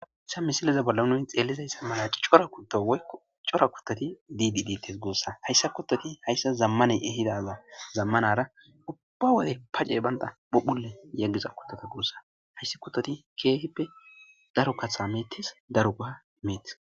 Haysa misileza bolla nun xelizaysa mala cora kuto woykko cora kutot dido detes gusa.haysa kutot zamaney ehidaba zamanara ubba wode pacey banda phuphphile yeliza kutota guusa, hsts kutot keehippe daro jatha metes, daroba metes.